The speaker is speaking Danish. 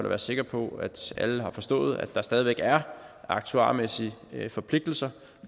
være sikker på at alle har forstået at der stadig væk er aktuarmæssige forpligtelser